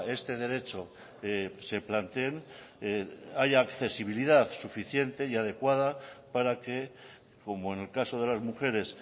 este derecho se planteen haya accesibilidad suficiente y adecuada para que como en el caso de las mujeres